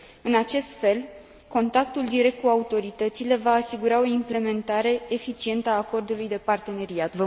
În acest fel, contactul direct cu autoritățile va asigura o implementare eficientă a Acordului de parteneriat.